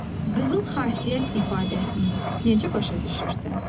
Qızıl xasiyyət ifadəsini necə başa düşürsən?